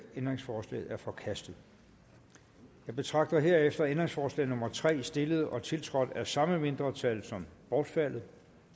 ændringsforslaget er forkastet jeg betragter herefter ændringsforslag nummer tre stillet og tiltrådt af samme mindretal som bortfaldet